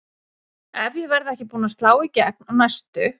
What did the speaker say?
Ef ég verð ekki búin að slá í gegn á næstu